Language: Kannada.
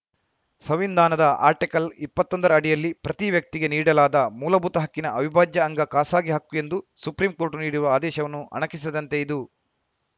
ಸಂವಿಧಾನದ ಆರ್ಟಿಕಲ್‌ ಇಪ್ಪತ್ತೊಂದರ ಅಡಿಯಲ್ಲಿ ಪ್ರತಿ ವ್ಯಕ್ತಿಗೆ ನೀಡಲಾದ ಮೂಲಭೂತ ಹಕ್ಕಿನ ಅವಿಭಾಜ್ಯ ಅಂಗ ಖಾಸಗಿ ಹಕ್ಕು ಎಂದು ಸುಪ್ರೀಂಕೋರ್ಟ್‌ ನೀಡಿರುವ ಆದೇಶವನ್ನು ಅಣಕಿಸಿದಂತೆ ಇದು